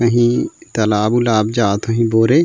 कहीं तलाब-उलाब जात होही बोरे --